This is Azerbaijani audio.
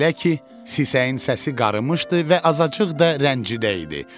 Belə ki, sisəyin səsi qarımışdı və azacıq da rəncidəydi.